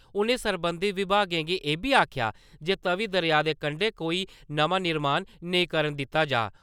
उनें सरबंधत बिभागें गी इब्बी आक्खेया जे तवि दरेया दे कंडै कोई नमां निर्माण नेईं करन दिता जा।